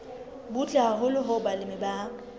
butle haholo hoo balemi ba